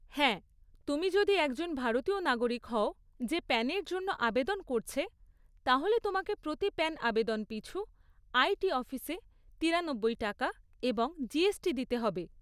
হ্যাঁ, তুমি যদি একজন ভারতীয় নাগরিক হও যে প্যানের জন্য আবেদন করছে, তাহলে তোমাকে প্রতি প্যান আবেদন পিছু আই টি অফিসে তিরানব্বই টাকা এবং জিএসটি দিতে হবে।